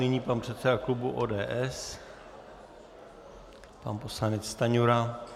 Nyní pan předseda klubu ODS pan poslanec Stanjura.